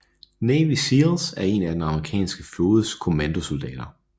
Navy SEALs er en af den amerikanske flådes kommandosoldater